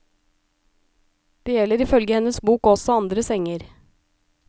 Det gjelder ifølge hennes bok også andre senger.